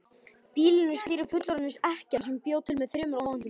Býlinu stýrði fullorðin ekkja sem bjó með þremur ókvæntum sonum.